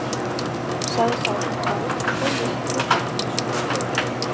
sagði sá sem fór, stóð upp og gekk inn í sjónvarpsstofuna.